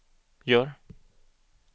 gör